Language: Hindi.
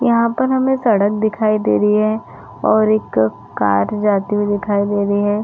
यहाँ पर हमें सड़क दिखाई दे रही है और एक कार जाती हुई दिखाई दे रही है।